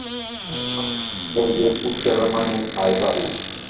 Thomas heyrði útgerðarmanninn æða út.